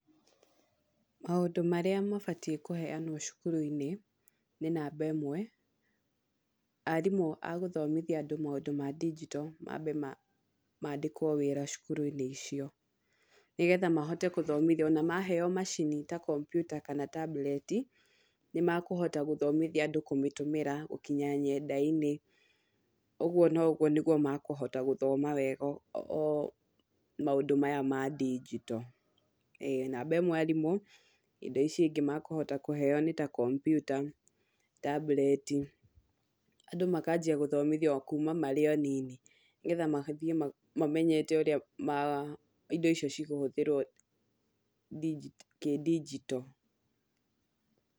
Maũndũ marĩa mabatiĩ kũheanwo cukuru-inĩ , nĩ namba ĩmwe, arimũ agũthomithia andũ maũndũ ma ndigito mambe maandĩkwo wĩra cukuru-inĩ icio, nĩgetha mahote gũthomithio, ona maheo macini ta kompyuta kana tabureti, nimakũhota gũthomithia andũ kũmĩtũmĩra gũkinya nyenda-inĩ, ũguo nĩguo makũhota gũthoma wega o maũndũ maya ma ndigito, namba ĩmwe arimũ , indo ici ingĩ makũhota kũheo nĩta kompyuta ,tabureti, andũ makajia gũthomithio kuma marĩ o anini , nĩgetha mathiĩ mamenyete ũrĩa ma indo ici cikũhũthĩrwo ndingi kĩndigito.